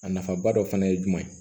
A nafaba dɔ fana ye jumɛn ye